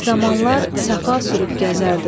Bir zamanlar səfa sürüb gəzərdim.